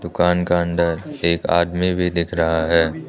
दुकान का अंदर एक आदमी भी दिख रहा है।